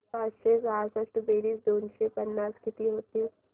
पाचशे सहासष्ट बेरीज दोनशे पन्नास किती होईल